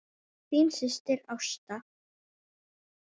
Þín systir, Ásta.